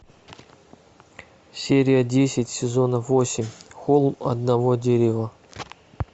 серия десять сезона восемь холм одного дерева